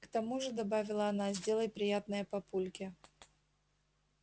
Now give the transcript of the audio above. к тому же добавила она сделай приятное папульке